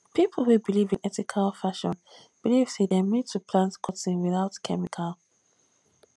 pipo wey belive in ethical fashion believe sey dem need to plant cotton without chemical